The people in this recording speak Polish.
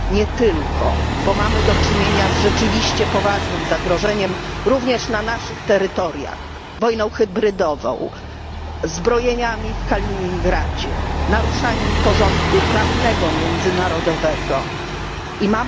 Nie tylko, bo mamy do czynienia z rzeczywiście poważnym zagrożeniem, również na naszych terytoriach, wojną hybrydową, zbrojeniami w Kaliningradzie, naruszaniem międzynarodowego porządku prawnego.